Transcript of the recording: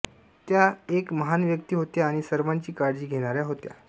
त्या एक महान व्यक्ती होत्या आणि सर्वांची काळजी घेणाऱ्या होत्या